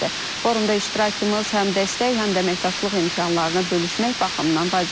Forumda iştirakımız həm dəstək, həm də əməkdaşlıq imkanlarını bölüşmək baxımından vacibdir.